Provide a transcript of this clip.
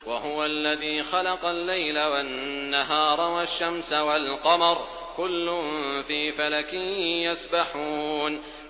وَهُوَ الَّذِي خَلَقَ اللَّيْلَ وَالنَّهَارَ وَالشَّمْسَ وَالْقَمَرَ ۖ كُلٌّ فِي فَلَكٍ يَسْبَحُونَ